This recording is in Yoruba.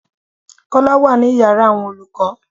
Kọ́lá wá ní ìyára àwọn olùkọ́.